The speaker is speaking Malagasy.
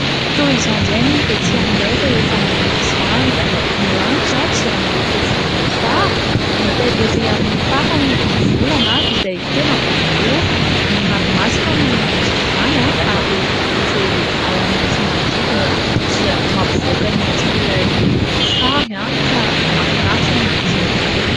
Toy izao indray ny ety aminay rehefa mody masoandro. Ny lanitra dia miloko volomboasary hita ery amin'ny farany ny volana izay tena boribory, ny ranomasina manome endrika izany ary ireo ala maitso manodidina dia mampivoaka ny endrik'ilay sary ka mahafinaritra ny mijery azy.